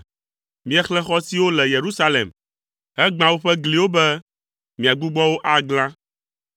Miexlẽ xɔ siwo le Yerusalem, hegbã woƒe gliwo be miagbugbɔ wo aglã.